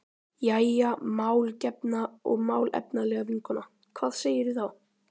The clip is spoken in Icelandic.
Jæja, málgefna og málefnalega vinkona, hvað segirðu þá?